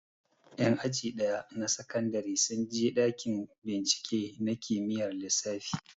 Ƴan aji ɗaya na sakandare sun je ɗakin bincike na kimiyyar lissafi